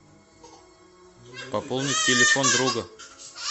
пополнить телефон друга